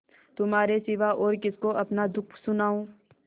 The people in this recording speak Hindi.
तुम्हारे सिवा और किसको अपना दुःख सुनाऊँ